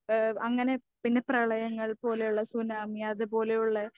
ഏഹ് അങ്ങനെ പിന്നെ പ്രളയങ്ങൾ പോലെയുള്ള സുനാമി അതുപോലെയുള്ള